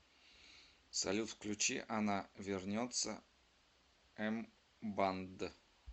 салют включи она вернется эмбанд